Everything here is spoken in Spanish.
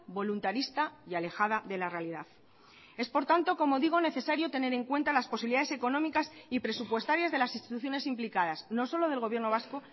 voluntarista y alejada de la realidad es por tanto como digo necesario tener en cuenta las posibilidades económicas y presupuestarias de las instituciones implicadas no solo del gobierno vasco